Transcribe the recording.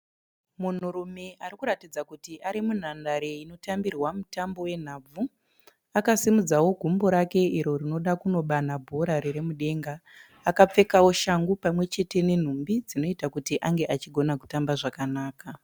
Munhurume arikuratidza kuti ari munhandare inotambirwa mutambo we nhabvu. Akasimudzao gumbo rake iro rinoda kunobanha bhora riri mudenga. Akapfekao shangu pamwechete nenhumbi dzinoita kuti ange achigona kutamba zvakanaka.